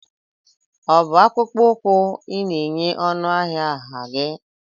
ọ bụ akpụkpọ ụkwụ ị na-enye ọnụ ahịa nha gị?